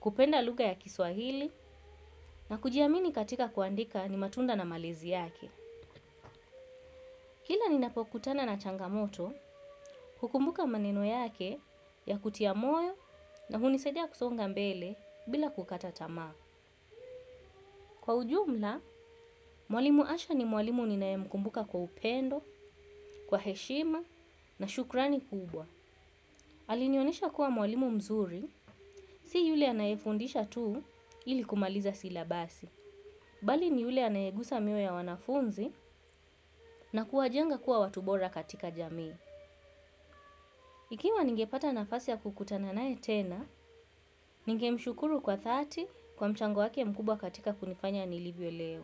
kupenda lugha ya kiswahili na kujiamini katika kuandika ni matunda na malezi yake. Kila ni napokutana na changamoto, hukumbuka maneno yake ya kutia moyo na hunisaidia kusonga mbele bila kukata tamaa. Kwa ujumla, mwalimu asha ni mwalimu ninae mkumbuka kwa upendo, kwa heshima na shukrani kubwa. Alinionesha kuwa mwalimu mzuri, si yule anayefundisha tuu ili kumaliza silabasi. Bali ni yule anayegusa miyo ya wanafunzi na kuwajenga kuwa watu bora katika jamii. Ikiwa ningepata nafasi ya kukutana nae tena, ningemshukuru kwa dhati kwa mchango wakw mkubwa katika kunifanya nilivyo leo.